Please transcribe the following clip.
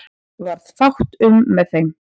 Varð fátt um með þeim